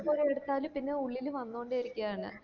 ത്ര കോരി എടുത്തലും പിന്നെ ഉള്ളില് വന്നൊണ്ട് ഇരിക്കയാണ്